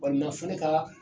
Walina fo ne kaa